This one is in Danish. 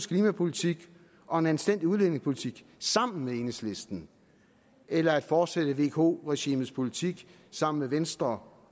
klimapolitik og en anstændig udlændingepolitik sammen med enhedslisten eller at fortsætte vko regimets politik sammen med venstre